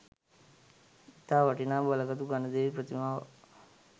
ඉතා වටිනා බලගතු ගණදෙවි ප්‍රතිමාවක්